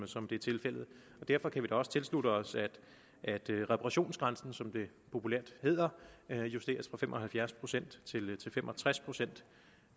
som det er tilfældet og derfor kan vi da også tilslutte os at at reparationsgrænsen som det populært hedder justeres fra fem og halvfjerds procent til fem og tres procent